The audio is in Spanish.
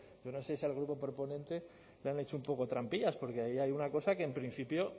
yo no sé si al grupo proponente le han hecho un poco trampillas porque ahí hay una cosa que en principio